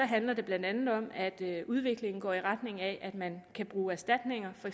handler det blandt andet om at udviklingen går i retning af at man kan bruge erstatninger og